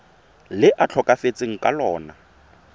le a tlhokafetseng ka lona